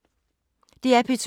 DR P2